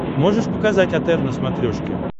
можешь показать отр на смотрешке